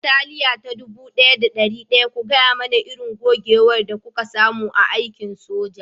Bataliya ta dubu ɗaya da ɗari ɗaya, ku gaya mana irin gogewar da kuka samu a aikin soja